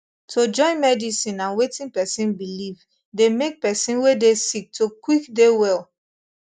to join medicine and wetin pesin believe dey make pesin wey dey sick to quick dey well